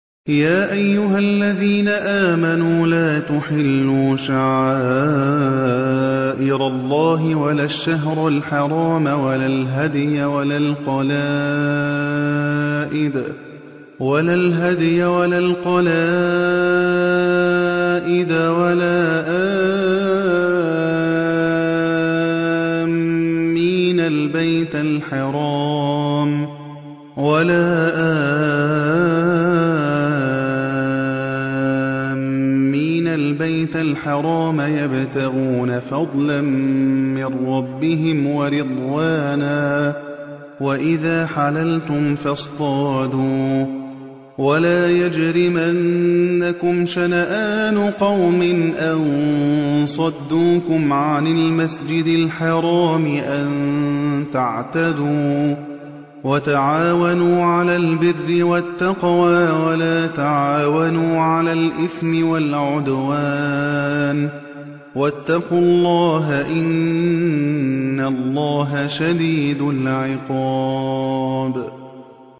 يَا أَيُّهَا الَّذِينَ آمَنُوا لَا تُحِلُّوا شَعَائِرَ اللَّهِ وَلَا الشَّهْرَ الْحَرَامَ وَلَا الْهَدْيَ وَلَا الْقَلَائِدَ وَلَا آمِّينَ الْبَيْتَ الْحَرَامَ يَبْتَغُونَ فَضْلًا مِّن رَّبِّهِمْ وَرِضْوَانًا ۚ وَإِذَا حَلَلْتُمْ فَاصْطَادُوا ۚ وَلَا يَجْرِمَنَّكُمْ شَنَآنُ قَوْمٍ أَن صَدُّوكُمْ عَنِ الْمَسْجِدِ الْحَرَامِ أَن تَعْتَدُوا ۘ وَتَعَاوَنُوا عَلَى الْبِرِّ وَالتَّقْوَىٰ ۖ وَلَا تَعَاوَنُوا عَلَى الْإِثْمِ وَالْعُدْوَانِ ۚ وَاتَّقُوا اللَّهَ ۖ إِنَّ اللَّهَ شَدِيدُ الْعِقَابِ